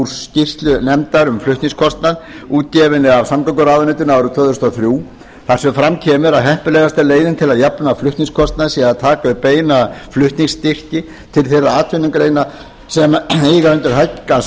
skýrslu nefndar um flutningskostnað útgefinni af samgönguráðuneytinu árið tvö þúsund og þrjú þar sem fram kemur að heppilegasta leiðin til að jafna flutningskostnað sé að taka upp beina flutningsstyrki til þeirra atvinnugreina sem eiga undir högg að